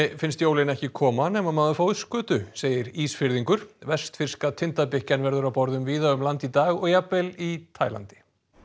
finnst jólin ekki koma nema maður fái skötu segir Ísfirðingur vestfirska verður á borðum víða um land í dag og jafnvel í Taílandi